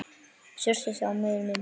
Surtsey á miðri mynd.